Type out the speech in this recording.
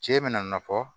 Cɛ bɛna na fɔ